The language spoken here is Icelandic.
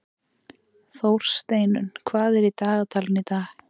Þórsteinunn, hvað er í dagatalinu í dag?